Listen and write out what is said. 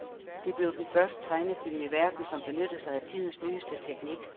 Det blev den første tegnefilm i verden, som benyttede sig af tidens nyeste teknik.